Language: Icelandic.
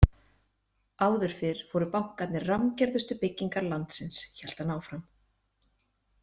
Áður fyrr voru bankarnir rammgerðustu byggingar landsins, hélt hann áfram.